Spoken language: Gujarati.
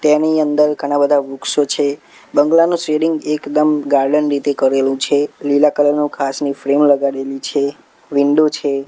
તેની અંદર ઘણા બધા વૃક્ષો છે બંગલાનું એકદમ ગાર્ડન રીતે કરેલું છે લીલા કલર નુ ઘાસ ની ફ્રેમ લગાડેલી છે વિન્ડો છે.